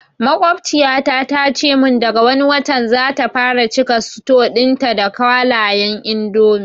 Maƙwabciyata ta ce mun daga wani watan zata fara cika suto ɗin ta da kwalayan indomi